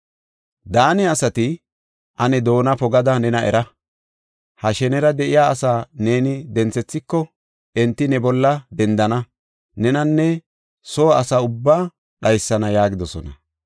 Daane asati, “Ane doona pogada nena era! Ha shenera de7iya asaa neeni denthethiko, enti ne bolla dendana; nenanne soo asa ubbaa dhaysana” yaagidosona.